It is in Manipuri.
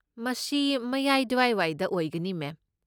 ꯃꯁꯤ ꯃꯌꯥꯏ ꯗ꯭ꯋꯥꯏꯗ ꯑꯣꯏꯒꯅꯤ ꯃꯦꯝ꯫